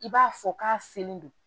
I b'a fɔ k'a selen don